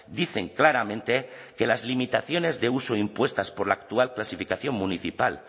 dicen claramente que las limitaciones de uso impuestas por la actual clasificación municipal